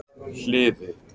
Hliði